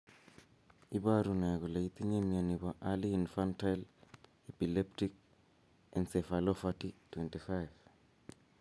Iporu ne kole itinye mioni po Early infantile epileptic encephalopathy 25?